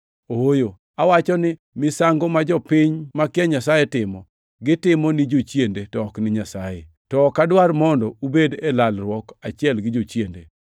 Ooyo! Awacho ni misango ma jopiny makia Nyasaye timo, gitimo ni jochiende, to ok ni Nyasaye. To ok adwar mondo ubedi e lalruok achiel gi jochiende.